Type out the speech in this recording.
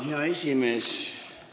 Hea esimees!